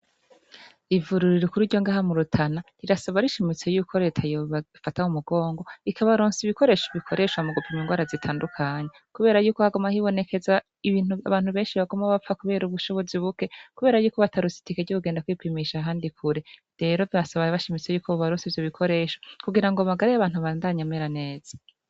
Ivuriro rikuru ryo ngaha murutana rirasaba rishimitse yuko reta yobafata m'umugongo ikabarosa ibikoresho bikoreshwa mugupima ingwara zitandukanye kubera yuko haguma hibonekeza ibintu abantu beshi baguma bapfa kubera ubushobozi buke kuberako batarose itike ryo kugenda kwipimisha ahandi kure. Rero barasaba bushimitse ko bobarosa ivyobikoresho kugirango amagara y'abantu abandanye amera neza.